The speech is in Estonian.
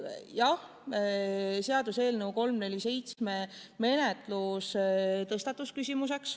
Jah, seaduseelnõu 347 menetluse küsimus tõstatus.